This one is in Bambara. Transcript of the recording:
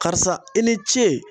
Karisa i ni ce